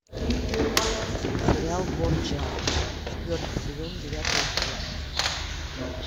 сериал борджиа четвертый сезон девятый эпизод